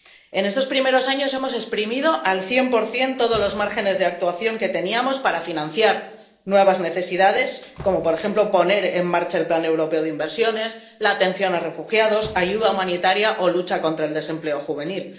En estos primeros años hemos exprimido al cien por cien todos los márgenes de actuación que teníamos para financiar nuevas necesidades como, por ejemplo, poner en marcha el plan europeo de inversiones, la atención a refugiados, ayuda humanitaria o lucha contra el desempleo juvenil.